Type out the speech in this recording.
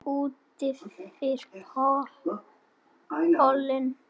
Útyfir pollinn